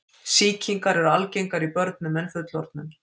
Sýkingar eru algengari í börnum en fullorðnum.